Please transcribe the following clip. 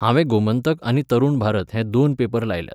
हांवें गोमंतक आनी तरूण भारत हे दोन पेपर लायल्यात.